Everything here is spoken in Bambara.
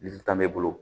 Litan m'e bolo